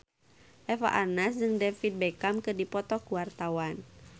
Eva Arnaz jeung David Beckham keur dipoto ku wartawan